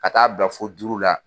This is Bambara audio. Ka t'a bila fo duuru la.